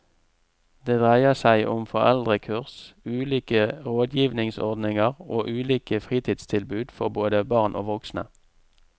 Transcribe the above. Det dreier seg om foreldrekurs, ulike rådgivningsordninger og ulike fritidstilbud for både barn og voksne.